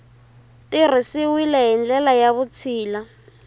tirhisiwile hi ndlela ya vutshila